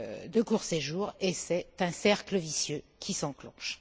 de court séjour, et c'est un cercle vicieux qui s'enclenche.